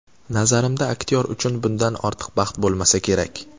Nazarimda, aktyor uchun bundan ortiq baxt bo‘lmasa kerak.